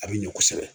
A bɛ ɲɔ kosɛbɛ